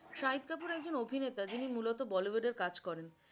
শাহিদ কাপুর একজন অভিনেতা যিনি মুলত bollywood কাজ করেন।